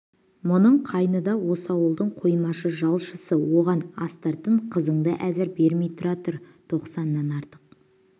мұның қайны да осы ауылдың қоймашы жалшысы оған астыртын қызыңды әзір бермей тұра тұр тоқсаннан артық